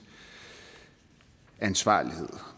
ansvarlighed og